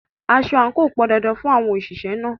Aso àǹkò pọn dandan fún àwọn òṣìṣẹ́ náà.